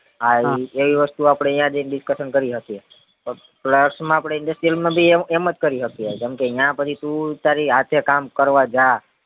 આ ઈ એવી વસ્તુ આપડે યા જઈને discussion કરી શકીએ plus માં આપડે industrial માં બી એમ જ કરી હકીયે કેમ કે નયા તું તારી હાથે કામ કરવા જા